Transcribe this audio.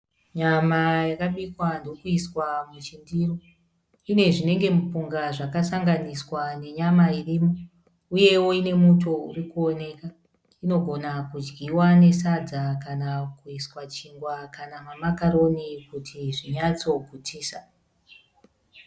Nyama yakabikwa ndokuiswa muchindiro. Ine zvinenge mupunga zvakasanganiswa nenyama irimo uyewo ine muto uri kuwoneka. Inogona kudyiwa nesadza kana kuiswa chingwa kana mamakaroni kuti zvinyatsogutisa.